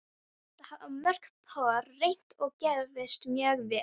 Þetta hafa mörg pör reynt og gefist mjög vel.